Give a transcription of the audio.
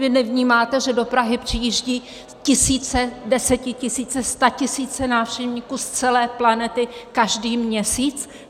Vy nevnímáte, že do Prahy přijíždějí tisíce, desetitisíce, statisíce návštěvníků z celé planety každý měsíc?